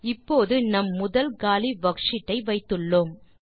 இப்போது நம் முதல் காலி வர்க்ஷீட் ஐ வைத்துள்ளோம்